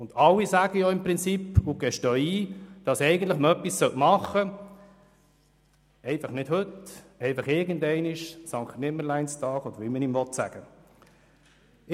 Und alle sagen und gestehen ein, dass man endlich etwas tun sollte, einfach nicht heute, irgendwann einmal am Sankt-Nimmerleins-Tag oder wie man dies nennen will.